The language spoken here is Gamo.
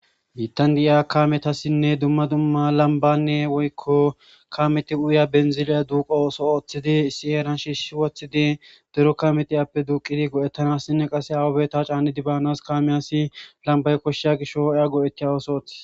Bitan di7a kametassinne dumma dumma lambanne woykko kaameti uya benziliya duuqo ooso ooththidi si7eeran shiishshi woththidi dero kameti appe duuqidi go7ettanassinne qase hawubeta caani dibaanas kaameyasi lambay koshshiya gishooeya go7etiya ooso oothis.